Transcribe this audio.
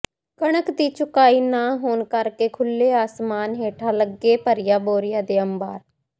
ਕਣਕ ਦੀ ਚੁਕਾਈ ਨਾ ਹੋਣ ਕਰਕੇ ਖੁਲੇ ਅਸਮਾਨ ਹੇਠ ਲੱਗੇ ਭਰੀਆ ਬੋਰੀਆਂ ਦੇ ਅੰਬਾਰ